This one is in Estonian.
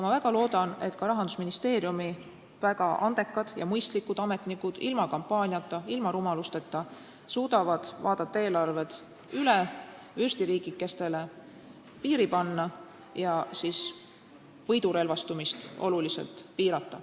Ma väga loodan, et ka Rahandusministeeriumi väga andekad ja mõistlikud ametnikud suudavad ilma kampaaniata, ilma rumalusteta vaadata eelarved üle, vürstiriigikestele piiri panna ja võidurelvastumist oluliselt piirata.